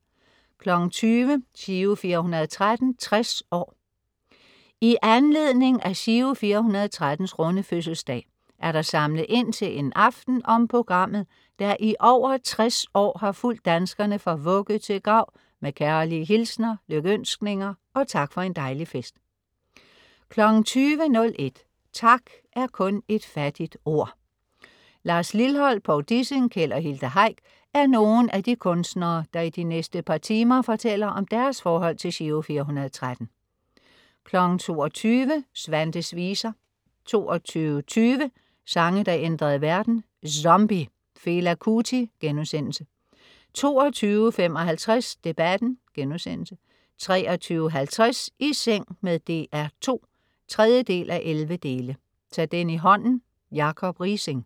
20.00 Giro 413, 60 år. I anledning af Giro 413's runde fødselsdag er der samlet ind til en aften om programmet, der i over 60 år har fulgt danskerne fra vugge til grav med kærlige hilsener, lykønskninger og tak for en dejlig fest 20.01 Tak er kun et fattigt ord. Lars Lilholt, Povl Dissing, Keld og Hilda Heick er nogle af de kunstnere, der i de næste par timer fortæller om deres forhold til Giro 413 22.00 Svantes Viser 22.20 Sange der ændrede verden. Zombie. Fela Kuti* 22.55 Debatten* 23.50 I seng med DR2 3:11. Ta den i hånden. Jacob Riising